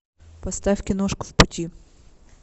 поставь киношку в пути